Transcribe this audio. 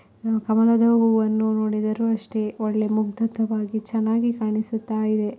ಕಮಲದ ಹೂವನ್ನು ನೋಡಿದರೂ ಅಷ್ಟೇ ಒಳ್ಳೆ ಮುಗ್ಧತೆಯಾಗಿ ಚೆನ್ನಾಗಿ ಕಾಣಿಸುತ್ತ ಇದೆ.